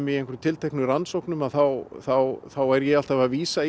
í einhverjum tilteknum rannsóknum þá þá þá er ég alltaf að vísa